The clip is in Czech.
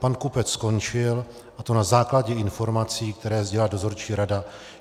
Pan Kupec skončil, a to na základě informací, které sdělila dozorčí rada.